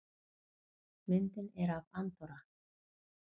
Myndin er af Andorra.